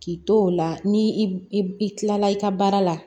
K'i to o la ni i i kilala i ka baara la